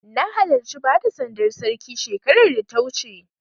Na halarci bada sandar Sarki shekarar da ta wuce.